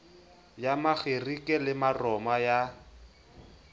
ya makgerike le maroma ya